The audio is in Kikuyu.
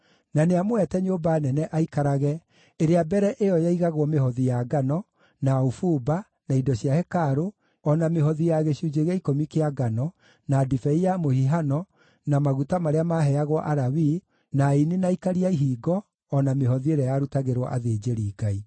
na nĩamũhete nyũmba nene aikarage ĩrĩa mbere ĩyo yaigagwo mĩhothi ya ngano, na ũbumba, na indo cia hekarũ, o na mĩhothi ya gĩcunjĩ gĩa ikũmi kĩa ngano, na ndibei ya mũhihano na maguta marĩa maaheagwo Alawii, na aini na aikaria a ihingo, o na mĩhothi ĩrĩa yarutagĩrwo athĩnjĩri-Ngai.